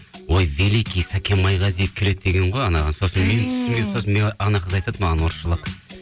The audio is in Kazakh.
ой великий сакен майғазиев келеді деген ғой анаған сосын мен түсінбей сосын ана қыз айтады маған орысшалап